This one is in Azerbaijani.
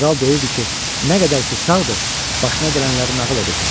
Kral deyirdi ki, nə qədər ki sağdır, başına gələnləri nəql edəcək.